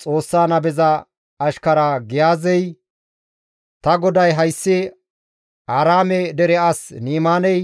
Xoossa nabeza ashkara Giyaazey, «Ta goday hayssi Aaraame dere as Ni7imaaney